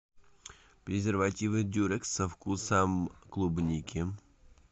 презервативы дюрекс со вкусом клубники